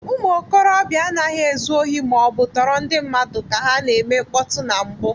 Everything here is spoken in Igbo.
Ụmụ okorobịa anaghị ezu ohi ma ọ bụ tọọrọ ndị mmadụ ka ha na-eme mkpọtụ na mbụ.